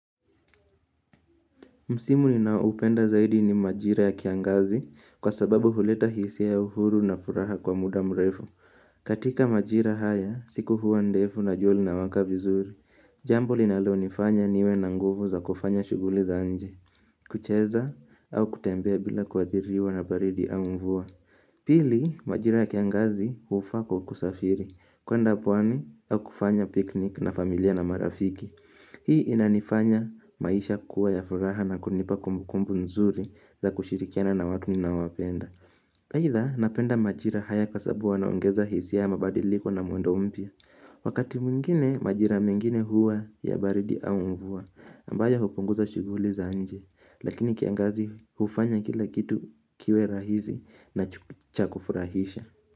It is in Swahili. Msimu nina upenda zaidi ni majira ya kiangazi kwa sababu huleta hisia ya uhuru na furaha kwa muda mrefu. Katika majira haya, siku huwa ndefu na jua lina waka vizuri. Jambo linalo nifanya niwe na nguvu za kufanya shughuli za nje. Kucheza au kutembea bila kuadhiriwa na baridi au mvua. Pili, majira ya kiangazi hufaa kwa kusafiri. Kwenda pwani au kufanya piknik na familia na marafiki. Hii inanifanya maisha kuwa ya furaha na kunipa kumbu kumbu nzuri za kushirikiana na watu ninawapenda. Aidha napenda majira haya kwa sababu wanaongeza hisia ama badiliko na mwendo mpya. Wakati mwingine majira mengine huwa ya baridi au mvua ambayo hupunguza shughuli za nje. Lakini kiangazi hufanya kila kitu kiwe rahisi na chakufurahisha.